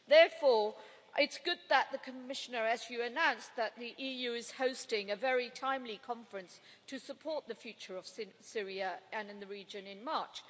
Therefore, it's good that, as the Commissioner announced, the EU is hosting a very timely conference to support the future of Syria and in the region in March.